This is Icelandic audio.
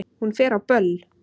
Hún fer á böll!